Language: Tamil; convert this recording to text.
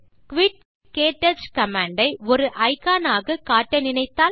குயிட் க்டச் கமாண்ட் ஐ ஒரு இக்கான் ஆக காட்ட நினைத்தால்